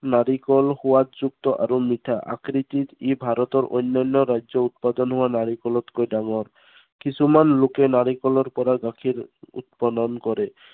নাৰিকল সোৱাদযুক্ত আৰু মিঠা। আকৃতিত ই ভাৰতৰ অন্য়ান্য় ৰাজ্য়ৰ উৎপাদন হোৱা নাৰিকলতকৈ ডাঙৰ। কিছুমান লোকে নাৰিকলৰ পৰা গাখীৰ উৎপাদন কৰে।